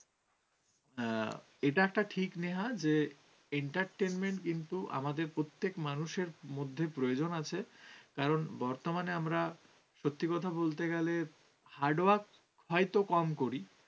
হ্যাঁ, এটা একটা ঠিক নেহা যে, entertainment কিন্তু আমাদের প্রত্যেক মানুষের মধ্যে প্রয়োজন আছে। কারণ বর্তমানে আমরা সত্যি কথা বলতে গেলে hardwork হয়তো কম করি।